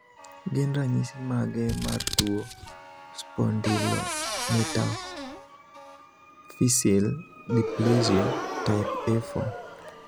Gin ranyisi mage mar tuo Spondylometaphyseal dysplasia type A4?